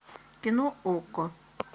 кино окко